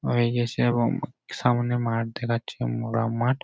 হয়ে গেছে এবং সামনে মাঠ দেখা যাচ্ছে মুরা মাঠ।